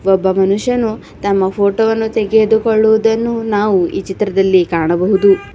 ಒಬ್ಬ ಮನುಷ್ಯನು ತಮ್ಮ ಫೋಟೋ ವನ್ನು ತೆಗೆದುಕೊಳ್ಳುವುದನ್ನು ನಾವು ಈ ಚಿತ್ರದಲ್ಲಿ ಕಾಣಬಹುದು.